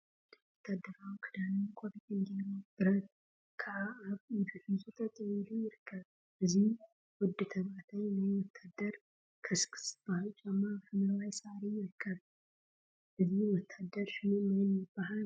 ሓደ ወታደራዊ ክዳንን ቆቢዕን ገይሩ ብረት ከዓ አብ ኢዱ ሒዙ ጠጠወ ኢሉ ይርከብ፡፡ እዚ ወዲ ተባዕታይ ናይ ወታደር ከስክስ ዝበሃል ጫማ አብ ሓምለዋይ ሳዕሪ ይርከብ፡፡ እዚ ወታደር ሹሙ መን ይበሃል?